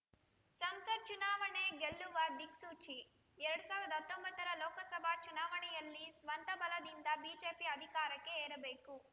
ಸಂಸತ್‌ ಚುನಾವಣೆ ಗೆಲ್ಲುವ ದಿಕ್ಸೂಚಿ ಎರಡ್ ಸಾವಿರದ ಹತ್ತೊಂಬತ್ತರ ಲೋಕಸಭಾ ಚುನಾವಣೆಯಲ್ಲಿ ಸ್ವಂತ ಬಲದಿಂದ ಬಿಜೆಪಿ ಅಧಿಕಾರಕ್ಕೆ ಏರಬೇಕು